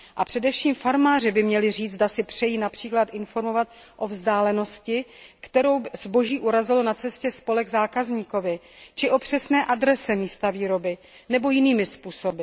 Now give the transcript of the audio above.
A především farmáři by měli říct, zda si přejí například informovat o vzdálenosti, kterou zboží urazilo na cestě z pole k zákazníkovi, či o přesné adrese místa výroby nebo o jiných údajích.